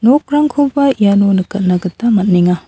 nokrangkoba iano nikatna gita man·enga.